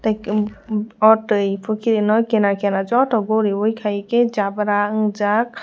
hwnkhe oh twi pukhirino kinar kinar joto guriwui khaikhe jabra ungjak.